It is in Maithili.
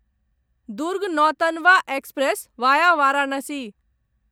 Durg Nautanwa express via Varanasi